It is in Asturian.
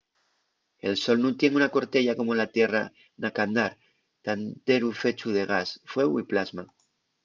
el sol nun tien una corteya como la tierra na qu'andar ta enteru fechu de gas fueu y plasma